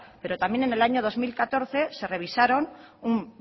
pero también en el año dos mil catorce se revisaron un